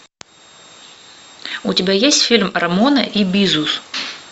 у тебя есть фильм рамона и бизус